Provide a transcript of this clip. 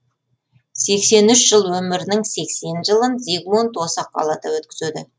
сексен үш жыл өмірінің сексен жылын зигмунд осы қалада өткізеді